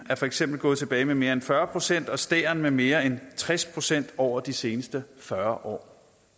er for eksempel gået tilbage med mere end fyrre procent og stære med mere end tres procent over de seneste fyrre år